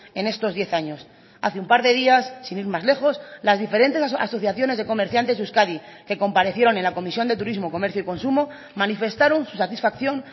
en estos diez años hace un par de días sin ir más lejos las diferentes asociaciones de comerciantes de euskadi que comparecieron en la comisión de turismo comercio y consumo manifestaron su satisfacción